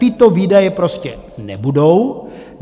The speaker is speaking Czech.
Tyto výdaje prostě nebudou.